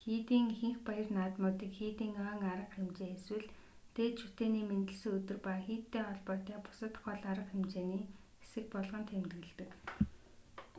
хийдийн ихэнх баяр наадмуудыг хийдийн ойн арга хэмжээ эсвэл дээд шүтээний мэндэлсэн өдөр ба хийдтэй холбоотой бусад гол арга хэмжээний хэсэг болгон тэмдэглэдэг